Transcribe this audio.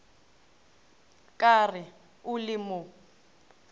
ka re o le mo